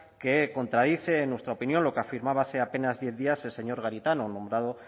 que contradice en nuestra opinión lo que afirmaba hace apenas diez días el señor garitano nombrado